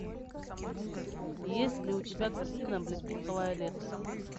есть ли у тебя картина облепиховое лето